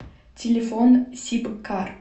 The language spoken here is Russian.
телефон сибкар